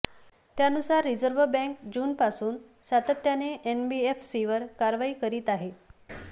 त्यानुसार reserve bank जूनपासून सातत्याने एनबीएफसींवर कारवाई करीत आहे